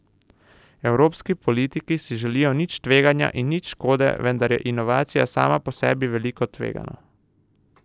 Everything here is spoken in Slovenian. Evropski politiki si želijo nič tveganja in nič škode, vendar je inovacija sama po sebi vedno nekoliko tvegana.